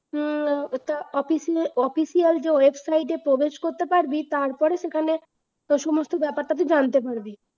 উম ওটা office এ official যে website এ প্রবেশ করতে পারবি তারপরে সেখানে ঔ সমস্ত বেপারটা তুই জানতে পারবি